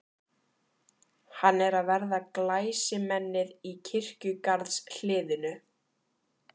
Hann er að verða glæsimennið í kirkjugarðshliðinu.